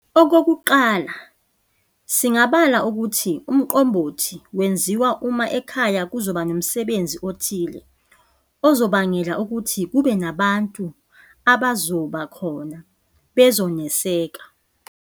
Okokuqala singabala ukuthi uMqombothi wenziwa uma ekhaya kuzoba nomsebezi othile ozobangela ukuthi kube nabantu abazoba khona bezoneseka.